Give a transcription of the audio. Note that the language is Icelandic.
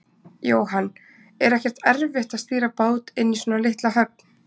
Jóhann: Er ekkert erfitt að stýra bát inn í svona litla höfn?